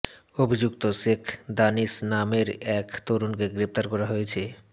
অভিযুক্ত শেখ দানিশ নামের এক তরুণকে গ্রেপ্তার করা হয়েছে